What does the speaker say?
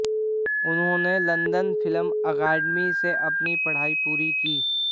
उन्होंने London film academy से अपनी पढ़ाई पूरी की